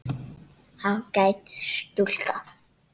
Ágæt stúlka.